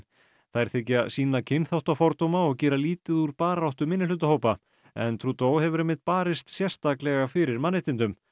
þær þykja sýna kynþáttafordóma og gera lítið úr barátta minnihlutahópa en hefur einmitt barist sérstaklega fyrir mannréttindum